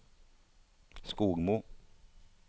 Skogmo